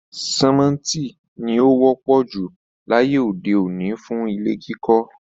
Símẹ́ńtì ni ó wọ́pọ̀ jù láyé òde òní fún ilé kíkọ́